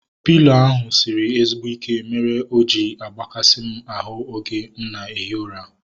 Pịlo ahu sịrị ezigbo ike mere o ji agbakasi m ahu oge m na ehi ụra